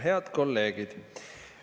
Head kolleegid!